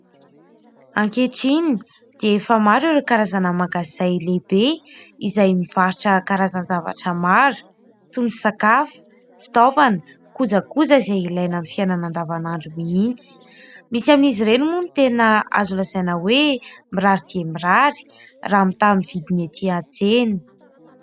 Ankehitriny dia efa maro ireo karazana mangazay lehibe izay mivarotra karazan-javatra mara toy ny sakafo, fitaovana, kojakoja izay ilaina amin'ny fiainana andavanandro mihitsy. Misy amin'izy ireny moa ny tena azo lazaina hoe mirary dia mirary raha mitaha amin'ny vidiny etỳ antsena.